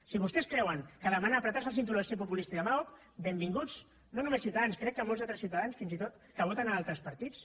si vostès creuen que demanar estrènyer se el cinturó és populista i demagog benvinguts no només ciutadans crec que molts altres ciutadans fins i tot que voten altres partits